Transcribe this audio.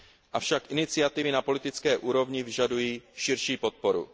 Avšak iniciativy na politické úrovni vyžadují širší podporu.